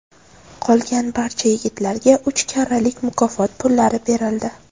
Qolgan barcha yigitlarga uch karralik mukofot pullari berildi.